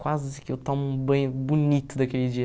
Quase que eu tomo um banho bonito daquele dia.